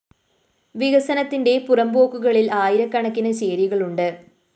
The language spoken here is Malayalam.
വികസനത്തിന്റെ പുറംപോക്കുകളില്‍ ആയിരക്കണക്കിന് ചേരികളുണ്ട്